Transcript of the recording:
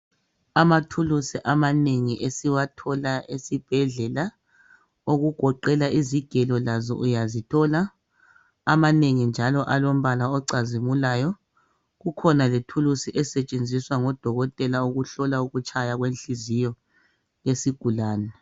Amathulusi amanengi esiwathola esibhedlela okugoqela izigelo lazo uyazithola amanengi njalo alombala ocazimulayo , kukhona lethulusi esetshenziswa ngodokotela ukutshaya kwenhliziyo yesigulane .